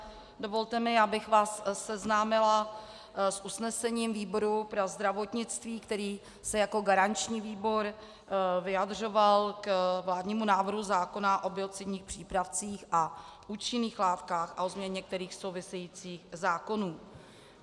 Dovolte mi, abych vás seznámila s usnesením výboru pro zdravotnictví, který se jako garanční výbor vyjadřoval k vládnímu návrhu zákona o biocidních přípravcích a účinných látkách a o změně některých souvisejících zákonů.